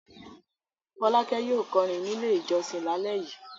Fọ́lákẹ́ yóò kọrin nílé ìjọsìn lálẹ́ yìí.